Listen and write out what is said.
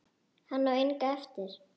Hann á enga eftir.